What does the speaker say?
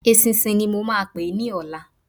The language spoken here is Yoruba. Eṣinṣin ni mo máa pè é ní ọ̀la.